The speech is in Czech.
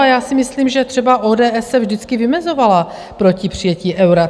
A já si myslím, že třeba ODS se vždycky vymezovala proti přijetí eura.